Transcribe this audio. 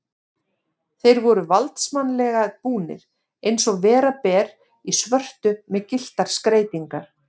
Þeir eru valdsmannslega búnir, eins og vera ber, í svörtu með gylltar skreytingar.